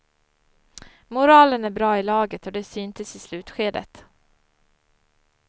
Moralen är bra i laget och det syntes i slutskedet.